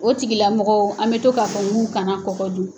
O tigila mɔgɔw, an bɛ to k'a fɔ k'u kana kɔgɔ dun.